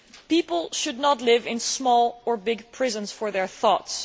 People should not live in small or big prisons for their thoughts.